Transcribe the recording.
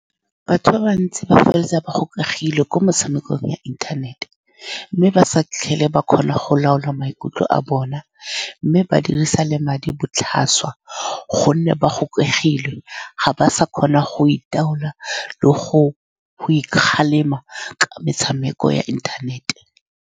Batho ba bantsi ba feleletsa ba gokagilwe ko motshamekong ya inthanete, mme ba sa tlhole ba kgona go laola maikutlo a bona, mme ba dirisa le madi botlhaswa ka gonne ba gokegilwe, ga ba sa kgona go itaola le go-go ikgalema ka metshameko ya internet-e.